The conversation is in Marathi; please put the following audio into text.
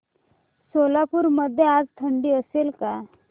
सोलापूर मध्ये आज थंडी असेल का